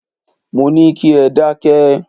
Mo ní kí ẹ dákẹ́!